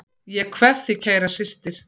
Ég kveð þig kæra systir.